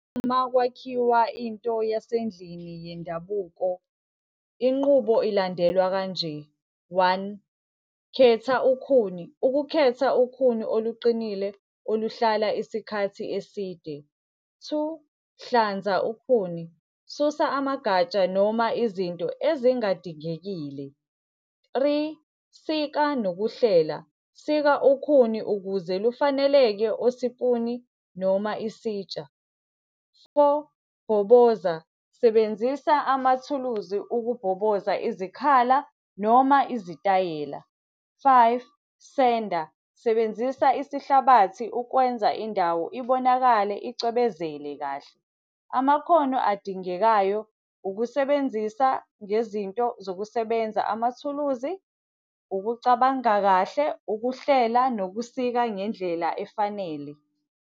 Uma kwakhiwa into yasendlini yendabuko, inqubo ilandelwa kanje. One, khetha ukhuni, ukukhetha ukhuni oluqinile oluhlala isikhathi eside. Two, hlanza ukhuni, susa amagatsha noma izinto ezingadingekile. Three, sika nokuhlela, sika ukhuni ukuze lufaneleke osipuni noma isitsha. Four bhoboza, sebenzisa amathuluzi ukubhoboza izikhala, noma izitayela. Five, senda, sebenzisa isihlabathi ukwenza indawo ibonakale icwebezele kahle. Amakhono adingekayo ukusebenzisa ngezinto zokusebenza, amathuluzi, ukucabanga kahle, ukuhlela nokusibeka ngendlela efanele.